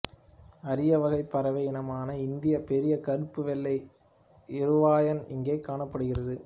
அரிய வகை பறவை இனமான இந்திய பெரிய கருப்பு வெள்ளை இருவாயன் இங்கே காணப்படுகிறது